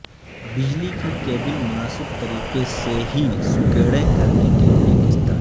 بجلی کی کیبل مناسب طریقے سے ہے سکیڑیں کرنے کے لئے کس طرح